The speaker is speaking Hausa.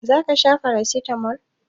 Za ka sha paracetamol?